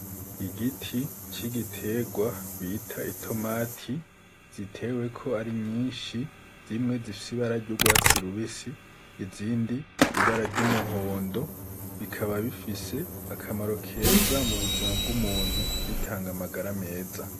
Igiti c'igitegwa bita itomati ziteweko ari nyinshi zimwe zifise ibara ry'ugwatsi rubisi, izindi ibara ry'umuhondo bikaba bifise akamaro keza mu buzima bw'umuntu, bitanga amagara meza.